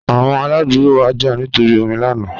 Awọn aladugbo wa ja nitori omi lana